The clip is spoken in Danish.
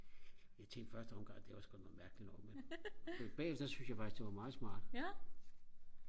jeg tænkte i første omgang det var sku da noget mærkeligt noget men men bagefter så syntes jeg faktisk det var meget smart